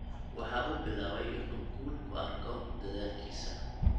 Waxa uu bilaabay in uu guul ku arko dadaalkiisa.